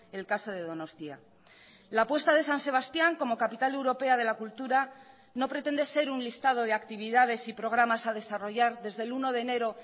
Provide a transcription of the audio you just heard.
el caso de donostia la apuesta de san sebastián como capital europea de la cultura no pretende ser un listado de actividades y programas a desarrollar desde el uno de enero